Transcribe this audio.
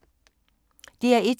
DR1